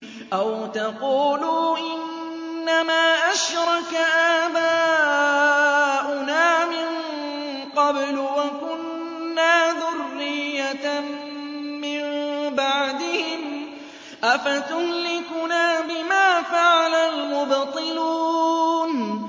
أَوْ تَقُولُوا إِنَّمَا أَشْرَكَ آبَاؤُنَا مِن قَبْلُ وَكُنَّا ذُرِّيَّةً مِّن بَعْدِهِمْ ۖ أَفَتُهْلِكُنَا بِمَا فَعَلَ الْمُبْطِلُونَ